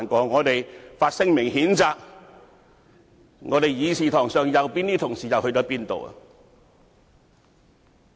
我們於是發聲明譴責，在議事堂上坐在右邊的同事又往哪裏去了？